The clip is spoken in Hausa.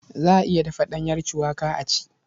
Za a iya dafa ɗanyar cuwaka a ci.